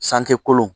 San te kolon